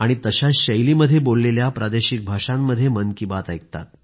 आणि तशाच शैलीमध्ये बोललेल्या प्रादेशिक भाषांमध्ये मन की बात ऐकतात